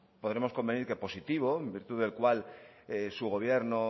podremos convenir que positivo en virtud del cual su gobierno